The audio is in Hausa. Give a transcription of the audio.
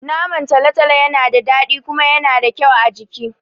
Naman talotalo Yana da dadi kuma Yana da kyau a jiki